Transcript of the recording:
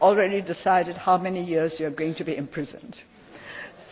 We have already decided how many years you are going to be imprisoned for'.